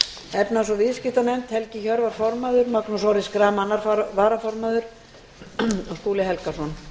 efnahags og viðskiptanefnd helgi hjörvar formaður magnús orri schram annar varaformaður og skúli helgason